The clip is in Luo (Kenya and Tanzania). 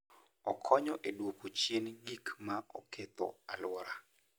Okonyo e duoko chien gik ma oketho alwora.